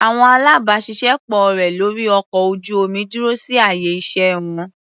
Àwọn alábàáṣiṣé pọ̀ rẹ̀ lórí ọkọ̀ ojú-omi dúró sí àyè iṣẹ́ wọn.